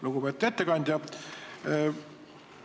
Lugupeetud ettekandja!